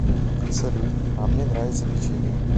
салют а мне нравится печенье